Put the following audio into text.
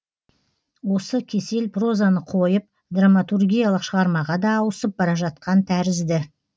осы кесел прозаны қойып драматургиялық шығармаға да ауысып бара жатқан тәрізді